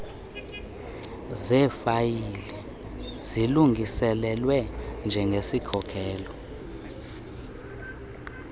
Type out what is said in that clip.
zeefayile zilungiselelwe njengesikhokelo